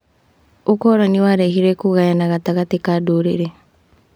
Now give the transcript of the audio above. ũkoroni warehire kũgayana gatagatĩ ka ndũrĩrĩ.